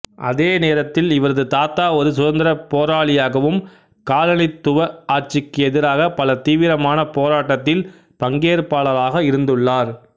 அதே நேரத்தில் இவரது தாத்தா ஒரு சுதந்திர போராளியாகவும் காலனித்துவ ஆட்சிக்கு எதிராக பல தீவிரமான போராட்டத்தில் பங்கேற்பாளராக இருந்துள்ளார்